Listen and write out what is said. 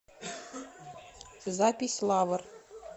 запись лавр